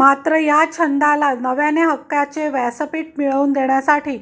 मात्र या छंदाला नव्याने हक्काचे व्यासपीठ मिळवून देण्यासाठी